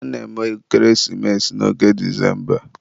a na-eme ekeresimesi n'oge Disemba.